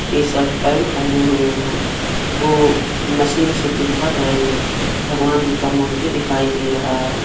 T shirt pant पहने हुए हैं को मशीन से कुछ भर रहे हैं भगवान जी का मूर्ति दिखाई दे रहा है।